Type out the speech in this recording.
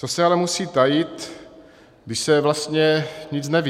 Co se ale musí tajit, když se vlastně nic neví?